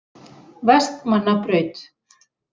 Vestmannabraut